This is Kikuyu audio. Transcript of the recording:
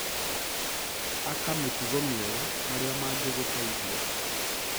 Aka mĩtugo mĩega marĩa mangĩgũteithia.